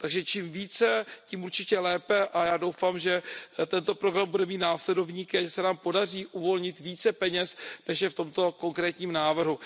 Takže čím více, tím určitě lépe a já doufám, že tento program bude mít následovníky a že se nám podaří uvolnit více peněz, než je v tomto konkrétním návrhu.